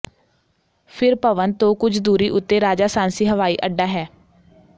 ਫਿਰ ਭਵਨ ਤੋਂ ਕੁਝ ਦੂਰੀ ਉਤੇ ਰਾਜਾਸਾਂਸੀ ਹਵਾਈ ਅੱਡਾ ਹੈ